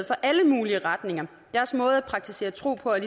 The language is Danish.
for alle mulige retninger deres måde at praktisere tro på er